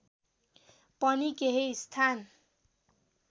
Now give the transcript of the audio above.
पनि केही स्थान